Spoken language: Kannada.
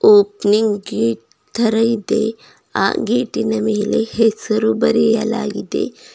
ಓಪನಿಂಗ್ ಗೇಟ್ ತರಾ ಇದೆ ಆ ಗೇಟಿನ ಮೇಲೆ ಹೆಸರು ಬರೆಯಲಾಗಿದೆ.